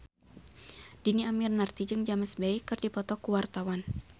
Dhini Aminarti jeung James Bay keur dipoto ku wartawan